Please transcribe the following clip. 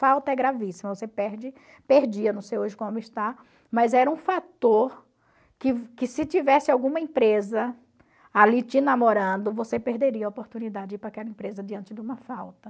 Falta é gravíssima, você perde, perdia, não sei hoje como está, mas era um fator que que se tivesse alguma empresa ali te namorando, você perderia a oportunidade de ir para aquela empresa diante de uma falta.